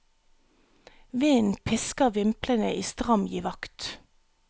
Vinden pisker vimplene i stram giv akt.